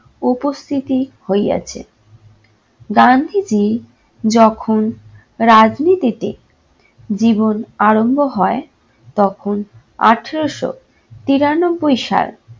উপস্থিতি হইয়াছে। গান্ধীজি যখন রাজনীতিতে জীবন আরম্ভ হয় তখন আঠেরোশো তিরানব্বই সাল